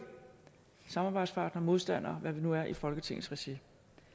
samarbejdspartnere modstandere og hvad vi nu er i folketingets regi